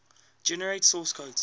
generate source code